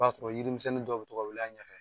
O b'a sɔrɔ ye yiri misɛnnin dɔ bɛ to ka wili a ɲɛfɛ